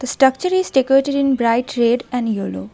The structure is decorated in bright red and yellow.